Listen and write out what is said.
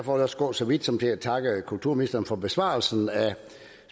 også gå så vidt som til at takke kulturministeren for besvarelsen af